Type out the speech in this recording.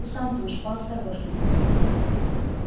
ты сам-то уж поосторожнее